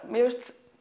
mér finnst